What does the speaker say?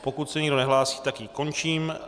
Pokud se nikdo nehlásí, tak ji končím.